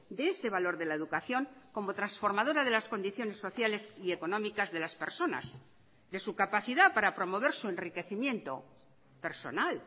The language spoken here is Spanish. de ese valor de la educación como transformadora de las condiciones sociales y económicas de las personas de su capacidad para promover su enriquecimiento personal